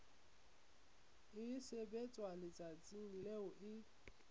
e sebetswa letsatsing leo e